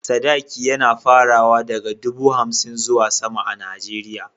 Sadaki yAna farawa daka dubu hamsin zuwa sama a nigeria